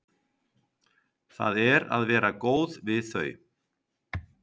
Það er að vera góð við þau.